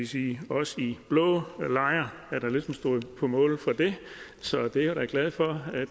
sige os i blå lejr der ligesom stod på mål for det så det er jeg da glad for at